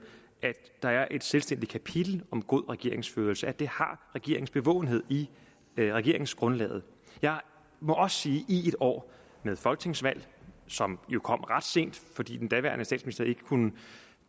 at der er et selvstændigt kapitel om god regeringsførelse at det har regeringens bevågenhed i regeringsgrundlaget jeg må også sige at i et år med folketingsvalg som jo kom ret sent fordi den daværende statsminister ikke kunne